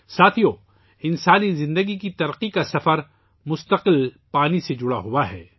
ساتھیو ، انسانی زندگی کی ترقی کا سفر مسلسل پانی سے جڑا ہوا ہے